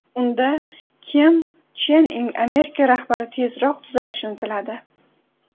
Unda Kim Chen In Amerika rahbari tezroq tuzalishini tiladi.